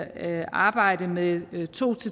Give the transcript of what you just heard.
at arbejde med to